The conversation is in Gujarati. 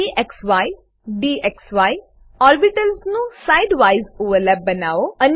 dxy ડીએક્સી ઓર્બિટલ્સ નું side વાઇઝ ઓવરલેપ બનાવો